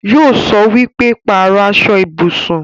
Yóò sọ wípé 'Pàrọ̀ aṣọ ibùsùn'